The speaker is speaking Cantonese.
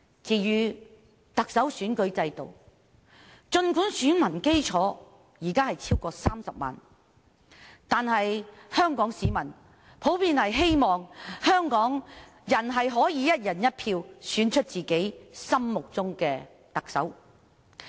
至於特首選舉制度，儘管現時選民基礎已超過30萬人，但香港市民普遍希望可以"一人一票"選出特首。